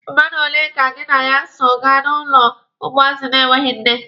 Mmadụ ole ka gị na ya so gaa n'ụlọ ụmụazị na-enweghi nne?